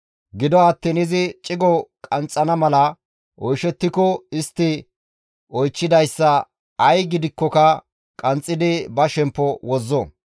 Gido attiin izi cigo qanxxana mala oyshettiko istti oychchidayssa ay gidikkoka qanxxidi ba shemppo wozzo.